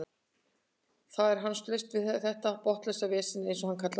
Þar er hann laus við þetta botnlausa vesen eins og hann kallar það.